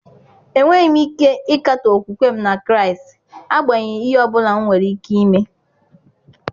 Enweghị m ike ịkatọ okwukwe m na Kraịst, agbanyeghị ihe ọ bụla nwere ike ime.